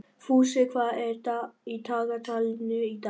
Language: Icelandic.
Fúsi, hvað er í dagatalinu í dag?